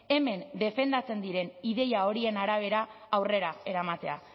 hemen defendatzen diren ideia horien arabera aurrera eramatea